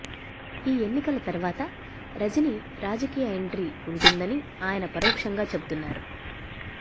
ఈ ఎన్నికల తర్వాత రజనీ రాజకీయ ఎంట్రీ ఉంటుందని ఆయన పరోక్షంగా చెబుతున్నారు